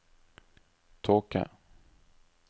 tåke